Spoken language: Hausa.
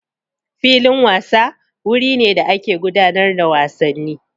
Filin wasa wuri ne da ake gudanar da wasanni.